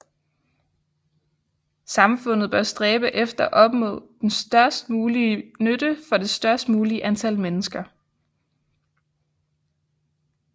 Samfundet bør stræbe efter at opnå den størst mulige nytte for det størst mulige antal mennesker